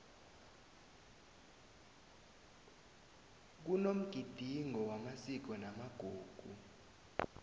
kunomgidingo wamasiko namagugu